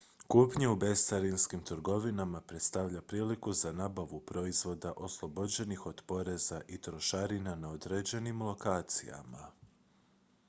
kupnja u bescarinskim trgovinama predstavlja priliku za nabavu proizvoda oslobođenih od poreza i trošarina na određenim lokacijama